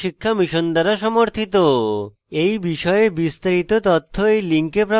এই বিষয়ে বিস্তারিত তথ্য এই link প্রাপ্তিসাধ্য